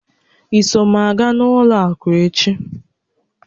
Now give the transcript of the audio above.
I so m aga ụlọ àkụ́ echi?